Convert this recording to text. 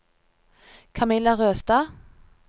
Kamilla Røstad